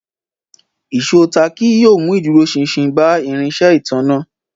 Ìṣó táàkì yóò mú ìdúróṣinṣin bá irinṣẹ́ ìtanná